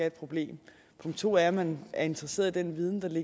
et problem punkt to er at man er interesseret i den viden